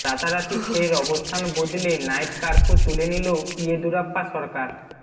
রাতারাতি ফের অবস্থান বদলে নাইট কার্ফু তুলে নিল ইয়েদুরাপ্পা সরকার